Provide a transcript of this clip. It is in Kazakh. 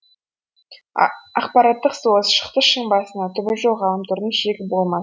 ақпараттық соғыс шықты шың басына түбі жоқ ғаламтордың шегі болмас